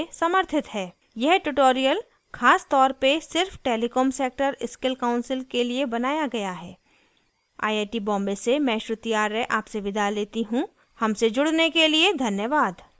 यह ट्यूटोरियल खास तौर पर सिर्फ टेलीकॉम सेक्टर स्किल कॉउंसिल के लिए बनाया गया हैआई आई टी बॉम्बे से मैं श्रुति आर्य आपसे विदा लेती हूँ हमसे जुड़ने के लिए धन्यवाद